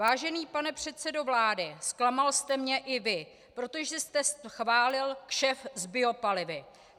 Vážený pane předsedo vlády, zklamal jste mě i vy, protože jste schválil kšeft s biopalivy.